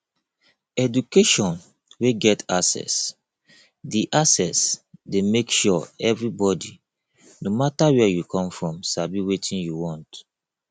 education wey get access de access de make sure everybody no matter where you come from sabi wetin you want